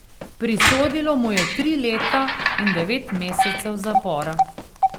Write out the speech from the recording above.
Prisodilo mu je tri leta in devet mesecev zapora.